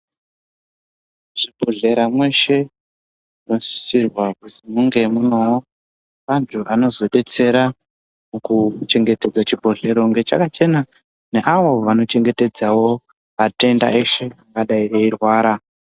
Muzvibhedhlera mweshe munosisirwa kuzi munge munewo vanthu vanozodetsera kuchengetedza chibhehlera kunge chakachenawo neavo vanochengetedzawo vatenda veshe vanodai veirwara .